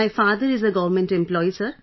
My father is a government employee, sir